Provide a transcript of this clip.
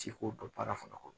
Ci k'o dɔn baara fana kɔnɔ